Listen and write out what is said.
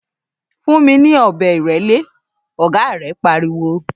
‘Fún mi ní ò̩be̩ ìré̩lé!’, ògá rè̩ pariwo